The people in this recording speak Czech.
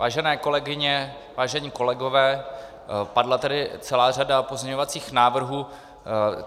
Vážené kolegyně, vážení kolegové, padla tady celá řada pozměňovacích návrhů.